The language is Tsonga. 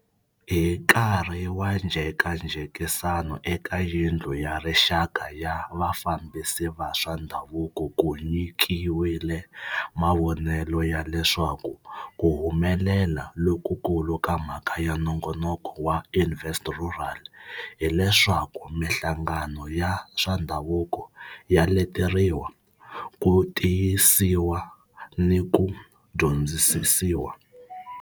Hi nkarhi wa njhekanjhekisano eka Yindlu ya rixaka ya vafambisi va swa ndhavuko ku nyikiwile mavonelo ya leswaku ku humelela lokukulu ka mhaka ya nongonoko wa Invest Rural hileswaku mihlangano ya swa ndhavuko ya leteriwa, ku tiyisiwa ni ku dyondzisiwa.